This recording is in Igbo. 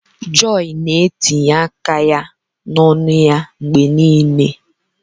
Joy na-etinye aka ya n'ọnụ ya mgbe niile.